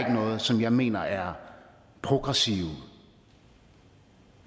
noget som jeg mener er progressive